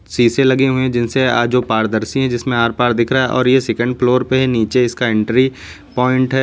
शीशे लगे हुए है जिनसे अ जो पारदर्शी है जिसमें आर-पार दिख रहा है और यह सेकंड फ्लोर पे है। नीचे इसका एंट्री पॉइंट है।